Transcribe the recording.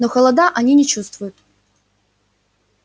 но холода они не чувствуют